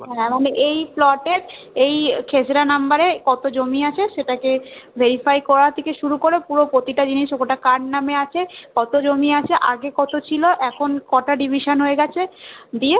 মানে এই Plot এর এই খেজরা number এ কত জমি আছে সেটা কে verify করা থেকে শুরু করে পুরো প্রতিটা জিনিস ওটা কার নামে আছে কত জমি আছে আগে ত ছিল এখন কটা division হয়ে গেছে দিয়ে